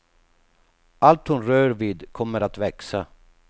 Allt hon rör vid kommer att växa.